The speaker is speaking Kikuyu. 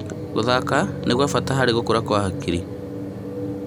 Gũthaka nĩ gwa bata harĩ gũkũra kwa hakiri?